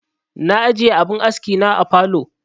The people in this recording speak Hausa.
Na ajiye abin aski na a falow